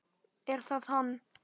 Er það hann?